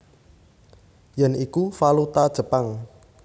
Yen iku valuta Jepang